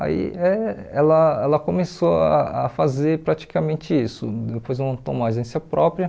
Aí eh ela ela começou a a fazer praticamente isso, depois ela montou uma agência própria